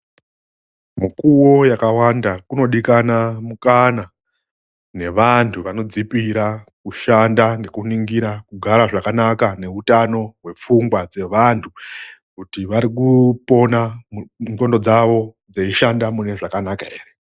Mukuwo yakawanda kunodikana mukana nevantu vanodzipira kushanda nekuningira kugara zvakanaka neutano hwepfungwa dzevantu. Kuti varikupona mundxondo dzavo dzeyishanda mune zvakanaka here?